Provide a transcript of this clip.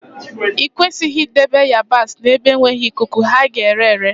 I kwesịghị idebe ịyabasị n'ebe enweghị ikuku, ha ga-ere ere